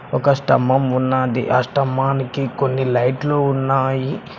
ఒక స్తంభం ఉన్నది ఆ స్తంభానికి కొన్ని లైట్లు ఉన్నాయి.